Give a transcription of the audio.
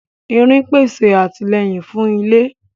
Irin pèsè àtìlẹ́yìn fún ilé